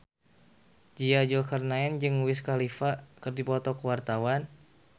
Nia Zulkarnaen jeung Wiz Khalifa keur dipoto ku wartawan